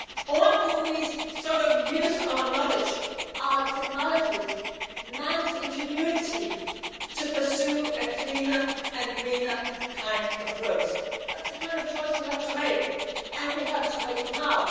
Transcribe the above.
worse? Or do we use our knowledge, our technologies, man's ingenuity to pursue a cleaner and greener kind of growth? That is the kind of choice we have to make, and we have to make